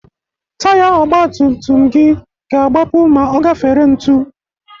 Taya ọgbatumtum gị ga-agbapu ma ọ gafere ntu.